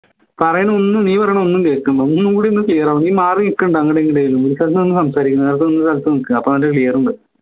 പറയണ ഒന്നും നീ പറയണ ഒന്നും കേക്കുന്നില്ല ഒന്നും കൂടി ഒന്ന് clear നീ മാറിനിക്കണ്ട അങ്ങട് ഇങ്ങട് നേരത്തെ നിന്ന് സ്ഥലത്ത് നിക്ക് അപ്പോ നല്ല clear ഉണ്ട്